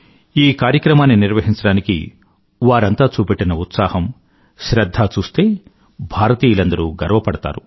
ఈ కార్యక్రమాన్ని నిర్వహించడానికి వారంతా చూపెట్టిన ఉత్సాహం శ్రధ్ధ లను చూస్తే భారతీయులందరూ గర్వపడతారు